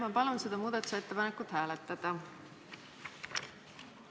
Ma palun seda muudatusettepanekut hääletada!